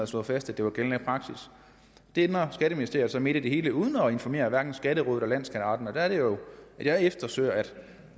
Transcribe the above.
slået fast at det var gældende praksis det ændrer skatteministeriet så midt i det hele uden at informere hverken skatterådet eller landsskatteretten og der er det jo at jeg efterspørger at